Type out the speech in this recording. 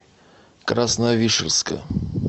красновишерска